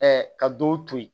ka dɔw to yen